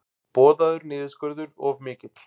Boðaður niðurskurður of mikill